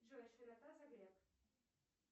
джой широта загреб